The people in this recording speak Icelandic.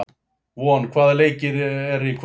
Von, hvaða leikir eru í kvöld?